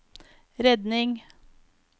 redning